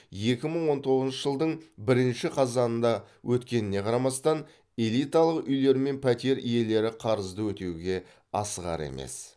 екі мың он тоғызыншы жылдың бірінші қазанында өткеніне қарамастан элиталық үйлер мен пәтер иелері қарызды өтеуге асығар емес